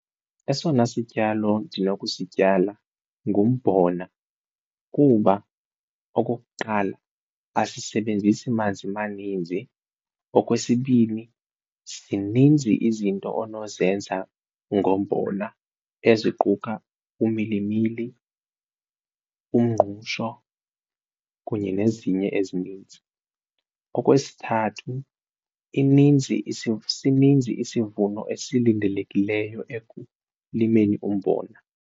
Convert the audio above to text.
Esona sityalo ndinokusityala ngumbona kuba okokuqala asisebenzisi manzi maninzi, okwesibini zininzi izinto onozenza ngombona eziquka umilimili, umngqusho kunye nezinye ezininzi. Okwesithathu, ininzi sininzi isivuno esilindelekileyo ekulimeni umbona.